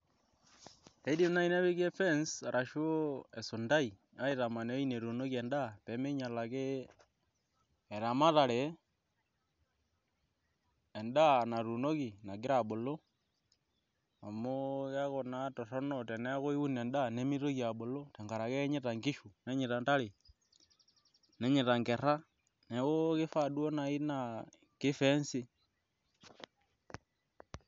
Idim naai nepiki efence ashu esuntai aitaman ine wueji netuunieki endaa pee miinyial ake eramatare endaa natuunoki nagira abulu amu keeku naa torrono teniun endaa nemitoki abulu amu keeku naa kenyaita nkishu ontare nenyaita nkerra neeku kifaa duo naai naa kifenci.